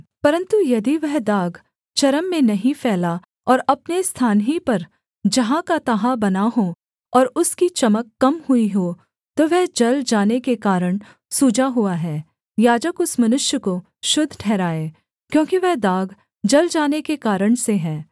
परन्तु यदि वह दाग चर्म में नहीं फैला और अपने स्थान ही पर जहाँ का तहाँ बना हो और उसकी चमक कम हुई हो तो वह जल जाने के कारण सूजा हुआ है याजक उस मनुष्य को शुद्ध ठहराए क्योंकि वह दाग जल जाने के कारण से है